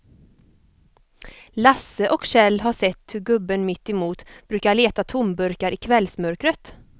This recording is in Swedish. Lasse och Kjell har sett hur gubben mittemot brukar leta tomburkar i kvällsmörkret.